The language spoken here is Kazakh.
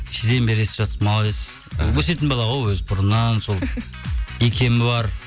кешеден бері естіп жатырмыз молодец і өсетін бала ғой өзі бұрыннан сол икемі бар